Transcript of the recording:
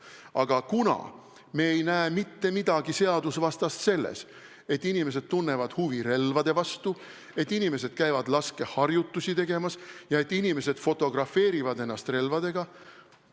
Aga me ei näe mitte midagi seadusvastast selles, et inimesed tunnevad huvi relvade vastu, et inimesed käivad laskeharjutusi tegemas ja et inimesed fotografeerivad ennast relvadega.